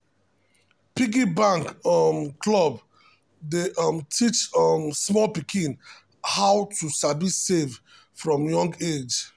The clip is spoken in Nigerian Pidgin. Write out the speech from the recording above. piggy bank um club dey um teach um small pikin how to sabi save from young age.